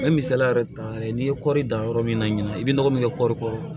N bɛ misaliya yɛrɛ ta n'i ye kɔri dan yɔrɔ min na ɲinan i bɛ nɔgɔ min kɛ kɔɔri kɔrɔ